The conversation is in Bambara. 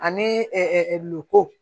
Ani